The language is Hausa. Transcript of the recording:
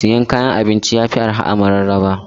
Siyan kayan abinci yafi arha a mararaba.